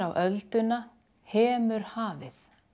ölduna hemur hafið